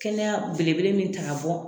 Kɛnɛya belebele min ta ka bɔ